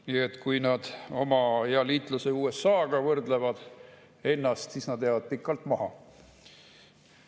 Nii et kui nad oma hea liitlase USA‑ga võrdlevad ennast, siis nad jäävad pikalt maha.